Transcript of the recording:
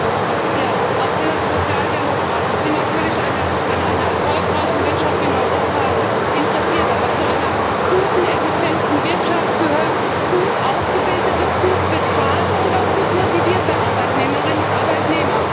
Herr Präsident! Auch wir Sozialdemokraten sind natürlich an einer erfolgreichen Wirtschaft in Europa interessiert. Aber zu einer guten, effizienten Wirtschaft gehören auch gut ausgebildete, gut bezahlte und auch gut motivierte Arbeitnehmerinnen und Arbeitnehmer.